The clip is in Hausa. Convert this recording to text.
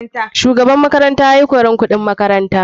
Shugaban makaranta yayi koran kuɗin makaranta.